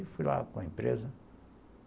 Aí fui lá com a empresa.